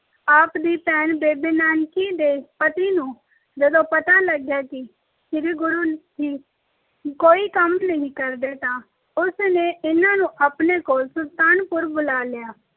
ਆਪ ਦੀ ਭੈਣ ਬੇਬੇ ਨਾਨਕੀ ਦੇ ਪਤੀ ਨੂੰ ਜਦੋਂ ਪਤਾ ਕਿ ਗੁਰੂ ਜੀ ਕੋਈ ਕੰਮ ਨਹੀਂ ਕਰਦੇ ਤਾਂ ਉਸ ਨੇ ਇਹਨਾਂ ਨੂੰ ਆਪਣੇ ਕੋਲ ਸੁਲਤਾਨਪੁਰ ਬੁਲਾ ਲਿਆ